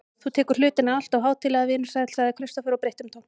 Þú tekur hlutina alltof hátíðlega, vinur sæll, sagði Kristófer og breytti um tón.